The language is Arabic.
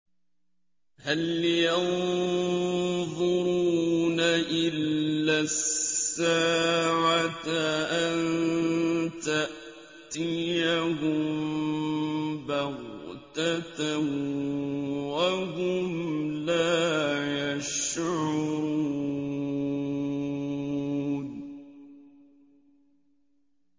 هَلْ يَنظُرُونَ إِلَّا السَّاعَةَ أَن تَأْتِيَهُم بَغْتَةً وَهُمْ لَا يَشْعُرُونَ